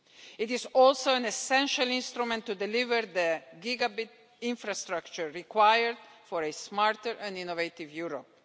It is also an essential instrument to deliver the gigabyte infrastructure required for a smarter and more innovative Europe.